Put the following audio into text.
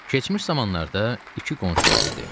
Keçmiş zamanlarda iki qonşu var idi.